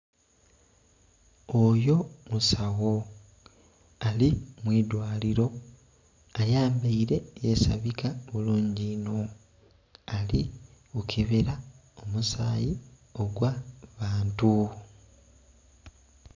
Oyo musawo ali mwilwalilo ayambaire yesabika bulungi inho ali kukebera omusaayi ogwa bantu.